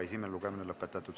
Esimene lugemine on lõpetatud.